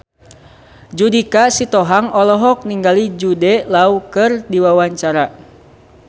Judika Sitohang olohok ningali Jude Law keur diwawancara